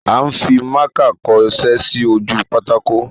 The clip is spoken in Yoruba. À ń fimákà kọṣẹ́ sí ojú pátákó.